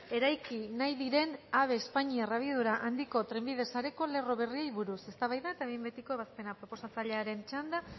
eraiki nahi diren ave espainiar abiadura handiko trenbide sareko lerro berriei buruz eztabaida eta behin betiko ebazpena proposatzailearen txanda